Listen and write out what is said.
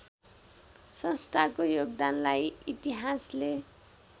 संस्थाको योगदानलाई इतिहासले